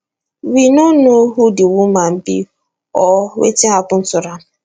we no know who di woman be or wetin happun to am